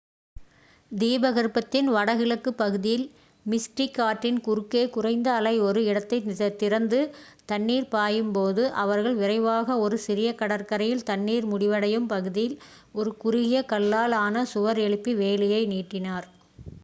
தீபகற்பத்தின் வடகிழக்கு பகுதியில் மிஸ்டிக் ஆற்றின் குறுக்கே குறைந்த அலை ஒரு இடத்தை திறந்து தண்ணீர் பாயும்போது அவர்கள் விரைவாக ஒரு சிறிய கடற்கரையில் தண்ணீர் முடிவடையும் பகுதியில் ஒரு குறுகிய கல்லால் ஆன சுவர் எழுப்பி வேலியை நீட்டினர்